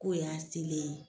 Ko y'a selen ye.